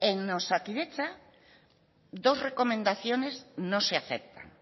en osakidetza dos recomendaciones no se aceptan